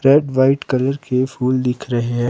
red white colour के फुल दिख रहे--